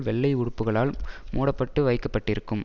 வெள்ளை உடுப்புக்களால் மூடப்பட்டு வைக்க பட்டிருக்கும்